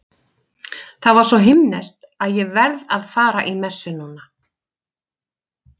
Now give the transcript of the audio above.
Það var svo himneskt að ég verð að fara í messu núna.